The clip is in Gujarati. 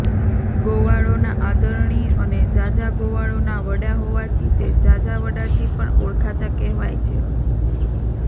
ગોવાળોના આદરણીય અને ઝાઝા ગોવાળોના વડા હોવાથી તે ઝાઝાવડાથી પણ ઓળખાતા કહેવાય છે